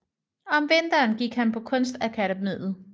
Om vinteren gik han på Kunstakademiet